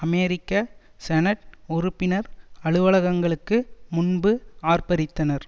அமெரிக்க senate உறுப்பினர் அலுவலகங்களுக்கு முன்பு ஆர்ப்பரித்தனர்